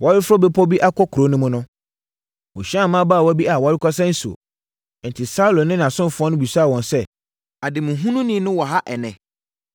Wɔreforo bepɔ bi akɔ kuro no mu no, wɔhyiaa mmabaawa bi a wɔrekɔsa nsuo. Enti, Saulo ne ne ɔsomfoɔ no bisaa wɔn sɛ “Ademuhununi no wɔ ha ɛnnɛ?”